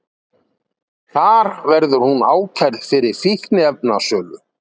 Þar verður hún ákærð fyrir fíkniefnasölu